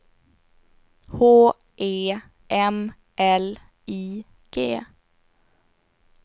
H E M L I G